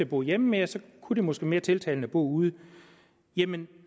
bo hjemme mere så kunne det måske være mere tiltalende at bo ude jamen